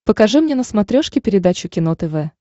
покажи мне на смотрешке передачу кино тв